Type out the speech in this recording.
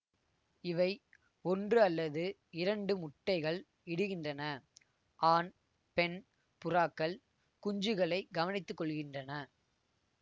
இவை ஒன்று அல்லது இரண்டு முட்டைகள் இடுகின்றன ஆண் பெண் புறாக்கள் குஞ்சுகளை கவனித்துக்கொள்கின்றன